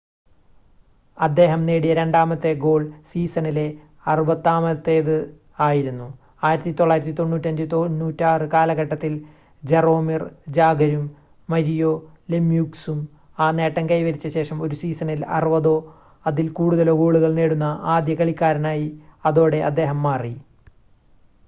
അദ്ദേഹം നേടിയ രണ്ടാമത്തെ ഗോൾ സീസണിലെ അറുപതാമത്തേത് ആയിരുന്നു 1995-96 കാലഘട്ടത്തിൽ ജറോമിർ ജാഗറും മരിയോ ലെമ്യൂക്സും ആ നേട്ടം കൈവരിച്ച ശേഷം ഒരു സീസണിൽ 60-ഓ അതിൽ കൂടുതലോ ഗോളുകൾ നേടുന്ന ആദ്യ കളിക്കാരനായി അതോടെ അദ്ദേഹം മാറി